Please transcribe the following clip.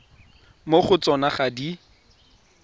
mo go tsona ga di